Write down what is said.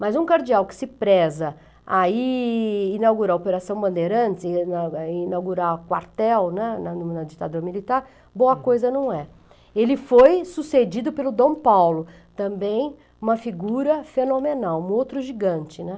Mas um cardeal que se preza a ir inaugurar a Operação Bandeirantes, a inau a inaugurar o quartel, né, na na ditadura militar, boa coisa não é. Ele foi sucedido pelo Dom Paulo, também uma figura fenomenal, um outro gigante, né.